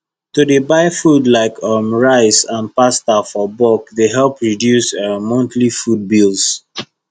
to dey buy food like um rice and pasta for bulk dey help reduce um monthly food bills